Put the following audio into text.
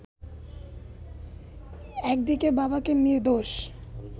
একদিকে বাবাকে নির্দোষ